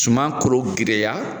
Suma koro giriya.